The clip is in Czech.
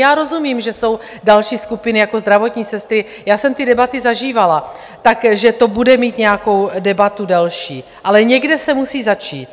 Já rozumím, že jsou další skupiny jako zdravotní sestry, já jsem ty debaty zažívala, takže to bude mít nějakou debatu další, ale někde se musí začít.